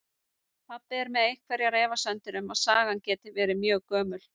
Pabbi er með einhverjar efasemdir um að sagan geti verið mjög gömul.